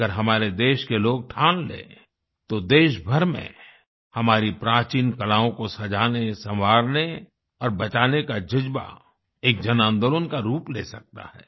अगर हमारे देश के लोग ठान लें तो देशभर में हमारी प्राचीन कलाओं को सजाने संवारने और बचाने का जज्बा एक जनआंदोलन का रूप ले सकता है